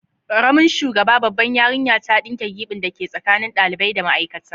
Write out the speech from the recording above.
Karamin shugaba, babbar yarinya, ta dinke gibin dake tsakanin dalibai da ma'aikata.